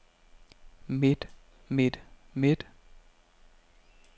midt midt midt